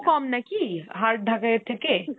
কম নাকি, hard ঢাকাইয়ের থেকে?